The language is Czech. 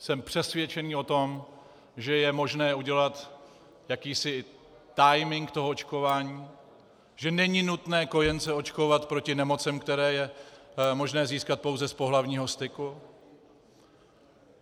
Jsem přesvědčený o tom, že je možné udělat jakýsi timing toho očkování, že není nutné kojence očkovat proti nemocem, které je možné získat pouze z pohlavního styku.